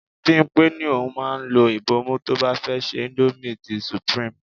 Bimpe ní òun máa ń lo ibomu tó bá fẹ́ se indomie ti supreme.